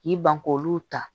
K'i ban k'olu ta